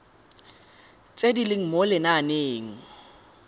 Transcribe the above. tse di leng mo lenaaneng